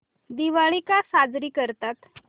दिवाळी का साजरी करतात